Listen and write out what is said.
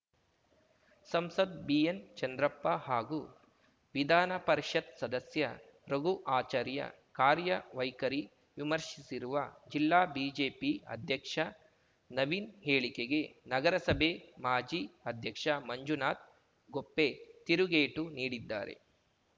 ಸಂಸದ್ BN Chandrappa ಹಾಗೂ ವಿಧಾನಪರಿಷತ್‌ ಸದಸ್ಯ ರಘು ಆಚಾರ್ಯ ಕಾರ್ಯವೈಖರಿ ವಿಮರ್ಶಿಸಿರುವ ಜಿಲ್ಲಾ ಬಿಜೆಪಿ ಅಧ್ಯಕ್ಷ ನವೀನ್‌ ಹೇಳಿಕೆಗೆ ನಗರಸಭೆ ಮಾಜಿ ಅಧ್ಯಕ್ಷ ಮಂಜುನಾಥ್‌ ಗೊಪ್ಪೆ ತಿರುಗೇಟು ನೀಡಿದ್ದಾರೆ